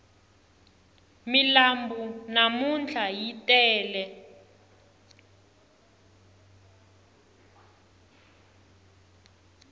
milambu namntlha yi tele